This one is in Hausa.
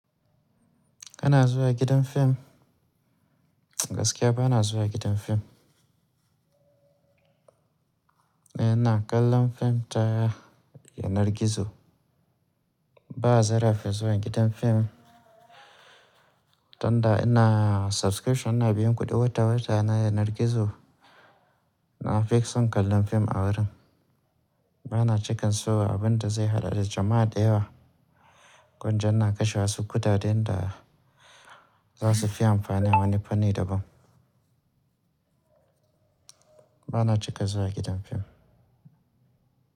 Kana zuwa gidan film. Gaskiya ba na zuwa gidan film. Ena yana kallon film ta yanar gizo. Ba a zarafi zuwa gidan film tunda ina subscription ina biyan kuɗi wata-wata na yanar gizo. Na fi son kallon fim a wurin. Ba na cika so abunda zai haɗa da jama'a da yawa, kunja na kashe wasu kuɗaɗe da za su fi amfani ma wani fanni daban. Ba na cika zuwa gidan fim.